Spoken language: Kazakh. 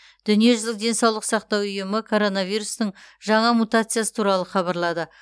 дүниежүзілік денсаулық сақтау ұйымы коронавирустың жаңа мутациясы туралы хабарлады